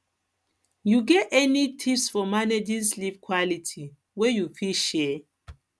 you get you get any tips for managing sleep quality wey you fit share